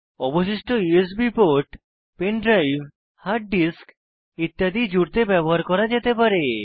অবশিষ্ট USB port pen drive hard disk ইত্যাদি জুড়তে ব্যবহৃত করা যেতে পারে